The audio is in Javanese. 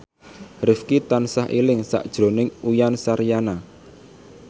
Rifqi tansah eling sakjroning Uyan Suryana